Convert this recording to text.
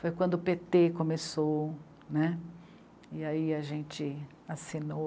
Foi quando o pê tê começou, e aí a gente assinou